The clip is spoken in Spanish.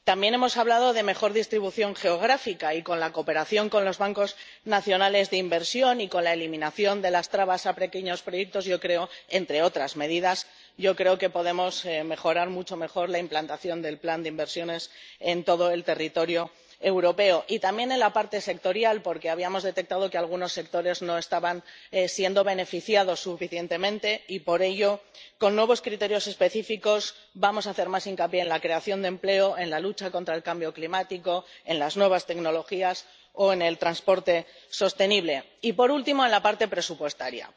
También hemos hablado de una mejor distribución geográfica, y con la cooperación con los bancos nacionales de inversión y con la eliminación de las trabas a pequeños proyectos —entre otras medidas— yo creo que podemos mejorar mucho la implantación del plan de inversiones en todo el territorio europeo y también en la parte sectorial, porque habíamos detectado que algunos sectores no estaban beneficiándose suficientemente. Y por ello, con nuevos criterios específicos, vamos a hacer más hincapié en la creación de empleo, en la lucha contra el cambio climático, en las nuevas tecnologías o en el transporte sostenible y, por último, en la parte presupuestaria.